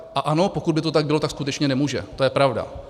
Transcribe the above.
A ano, pokud by to tak bylo, tak skutečně nemůže, to je pravda.